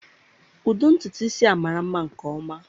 Ụdị ntutu isi a mara nma nke ọma.